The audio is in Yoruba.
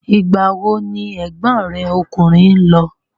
Ìgbà wo ni ẹ̀gbọ́n rẹ ọkùnrin lọ?